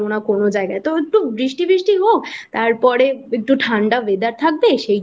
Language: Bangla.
পারবো না কোনো জায়গায় তো একটু বৃষ্টি বৃষ্টি হোক তারপরে একটু ঠান্ডা weather থাকবে